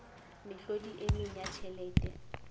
mehlodi e meng ya tjhelete